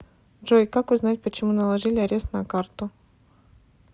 джой как узнать почему наложили арест на карту